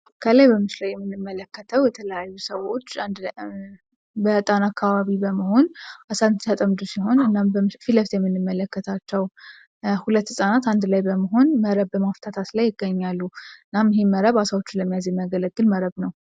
ከላይ በምስሉ ላይ የምንመለከተው የተለያዩ ሰዎች በጣና አካባቢ በመሆን አሳን ሲያጠምዱ ፊት ለፊት የምንመለከታቸው ሁለት ህፃናት አንድ ላይ በመሆን መረብ በመጎተት ላይ ይገኛሉ። እናም ይህ መረብ አሳዎችን ለመያዝ የሚያገለግል መረብ ነው።